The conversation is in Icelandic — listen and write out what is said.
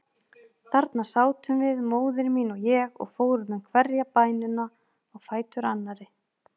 Þarna sátum við, móðir mín og ég, og fórum með hverja bænina á fætur annarri.